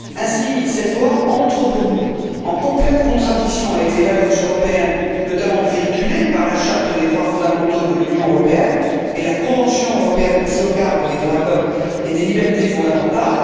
Ainsi, cette loi entre, pour nous, en complète contradiction avec les valeurs européennes, notamment véhiculées par la charte des droits fondamentaux de l'Union européenne et la convention européenne de sauvegarde des droits de l'homme et des libertés fondamentales.